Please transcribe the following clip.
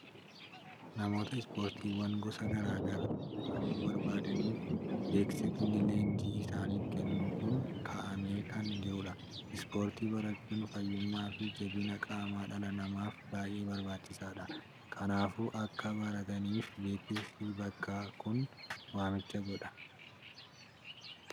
Namoota ispoortiiwwan gosa garaa garaa hirmaachuu barbaadaniif beeksisni leenjii isaanif kennuu kun kaa'amee kan jirudha. Ispoortii barachuun fayyummaa fi jabina qaama dhala namaaf baay'ee barbaachisaadha. Kanaafuu, akka barataniif beeksisni bakkaa kun waamicha godha.